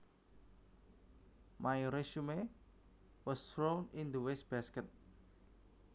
My resume was thrown in the waste basket